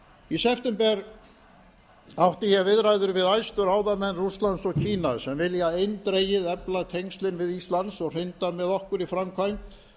í september átti ég viðræður við æðstu ráðamenn rússlands og kína sem vilja eindregið efla tengslin við ísland og hrinda með okkur í framkvæmd